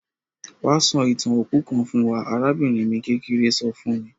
Wa sọ ìtàn òkú kan fún wa; arabìnrin mi kékeré so fun mi.